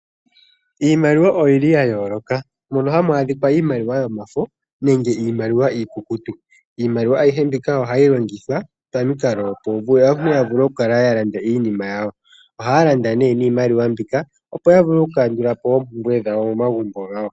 Iimaliwa oyi li ya yoolokathana. Opu na iimaliwa yomafo nosho woo iikukutu naayihe ohayi longithwa kaantu pamikalo dha yoolokathana opo ya vule okulanda iinima yawo yo yakandulepo oompumbwe momagumbo gawo.